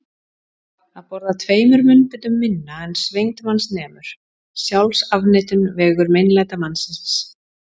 Að borða tveimur munnbitum minna en svengd manns nemur: sjálfsafneitun, vegur meinlætamannsins.